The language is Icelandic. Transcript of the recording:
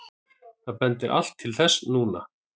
Það bendir allt til þess núna.